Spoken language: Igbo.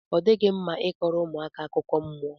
odighi mma i koro ụmụaka akụkọ mmụọ.